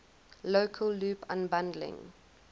local loop unbundling